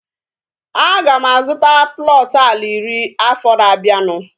Aga m azụta plọtu ala iri afọ na-abianu